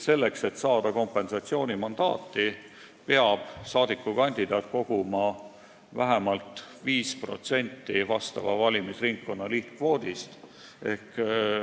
Selleks, et saada kompensatsioonimandaati, peab kandidaat koguma vähemalt 5% vastava valimisringkonna lihtkvoodist.